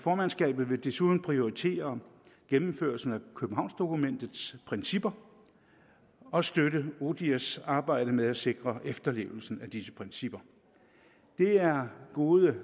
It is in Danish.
formandskabet vil desuden prioritere gennemførelsen af københavnsdokumentets principper og støtte odihrs arbejde med at sikre efterlevelsen af disse principper det er gode